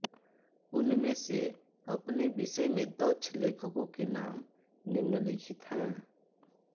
उनमें से अपने विषय में दक्ष लेखकों के नाम निम्नलिखित हैं